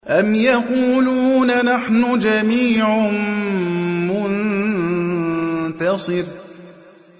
أَمْ يَقُولُونَ نَحْنُ جَمِيعٌ مُّنتَصِرٌ